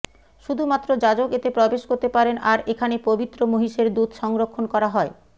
শুধুমাত্র যাজক এতে প্রবেশ করতে পারেন আর এখানে পবিত্র মহিষের দুধ সংরক্ষণ করা হয়